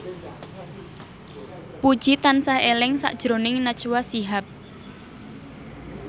Puji tansah eling sakjroning Najwa Shihab